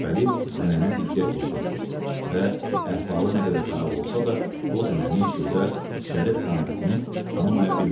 Şəppəli zənənə diqqət yetirdi və əhvalı nə qədər xarab olsa da, o zənənin gözəl, zərif qamətini tanıya bilmədi.